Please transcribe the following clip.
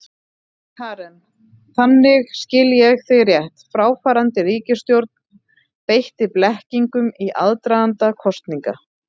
Karen: Þannig, skil ég þig rétt, fráfarandi ríkisstjórn beitti blekkingum í aðdraganda kosninga?